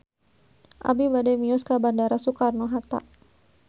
Abi bade mios ka Bandara Soekarno Hatta